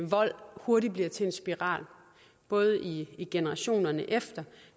vold hurtigt bliver til en spiral både i i generationerne efter